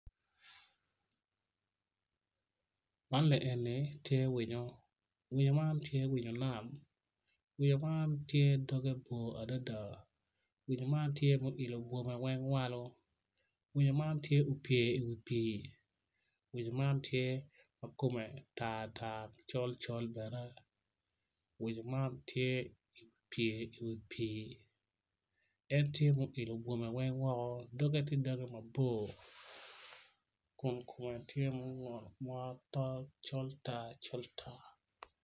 Man eni tye winyo winyo man tye winyo nam winyo man tye doge bor adada gumako jami moni i cingi nen calo gityo kwede me kwan i pii onyo me wot i wi pii en tye ma oilo bwome weng woko dok doge tye col tar coltar.